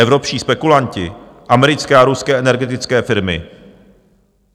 Evropští spekulanti, americké a ruské energetické firmy.